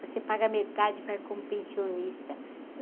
Você paga metade, vai como pensionista.